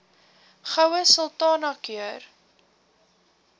goue sultana keur